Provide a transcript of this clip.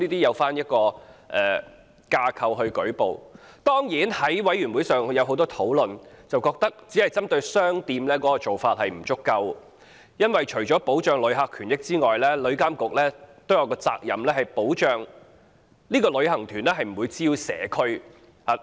《旅遊業條例草案》委員會曾就此問題進行詳細討論，覺得只針對商店的做法不足夠，因為除了保障旅客權益之外，旅監局還有責任保障旅行團不會滋擾社區。